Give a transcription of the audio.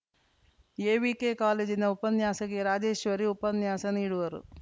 AVK ಕಾಲೇಜಿನ ಉಪನ್ಯಾಸಕಿ ರಾಜೇಶ್ವರಿ ಉಪನ್ಯಾಸ ನೀಡುವರು